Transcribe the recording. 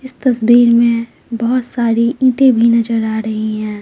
इस तस्वीर में बहुत सारी ईंटें भी नजर आ रही है।